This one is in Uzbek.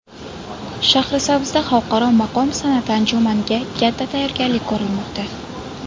Shahrisabzda xalqaro maqom san’ati anjumaniga katta tayyorgarlik ko‘rilmoqda .